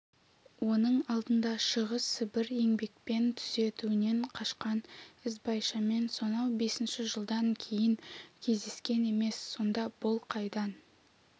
оның алдында шығыс сібір еңбекпен түзетуінен қашқан ізбайшамен сонау бесінші жылдан кейін кездескен емес сонда бұл қайдан